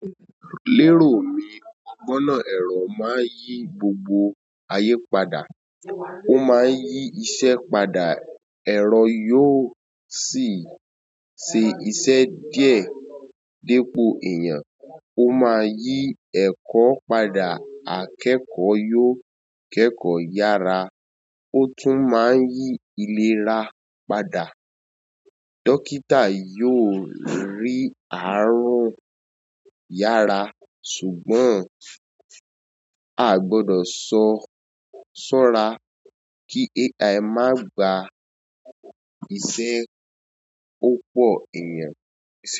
Lero mi ọ gbọ náà ẹrọ maa n yi gbogbo aye padà. Ó máa yí iṣẹ́ padà, ẹ̀rọ yóò sì ṣe iṣẹ́ díẹ̀ dípò èèyàn. Ó máa yí ẹ̀kọ́ padà, akẹ́kọ̀ọ́ yóò kẹ́kọ̀ọ́ yára, ó tún máa n yí ìléra padà. Dọ́kítà yóò rí àarun yára. Ṣùgbọ́n a gbọdọ̀ sọ́ra kí AI má gba iṣẹ́ o pọ̀ èèyàn.